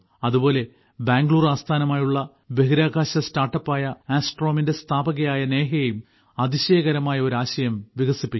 അതുപോലെ ബാംഗ്ലൂർ ആസ്ഥാനമായുള്ള ബഹിരാകാശ സ്റ്റാർട്ടപ്പായ ആസ്ട്രോമിന്റെ സ്ഥാപകയായ നേഹയും അതിശയകരമായ ഒരു ആശയം വികസിപ്പിക്കുന്നു